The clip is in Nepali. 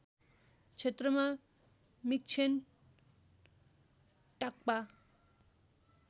क्षेत्रमा मिक्षेन टाग्पा